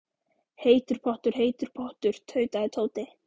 Heitur pottur, heitur pottur. tautaði Tóti.